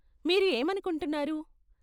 మీరు ఏమనుకుంటున్నారు?